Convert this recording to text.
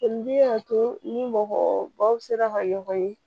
Foliden y'a to ni mɔgɔbaw sera ka ɲɔgɔn ye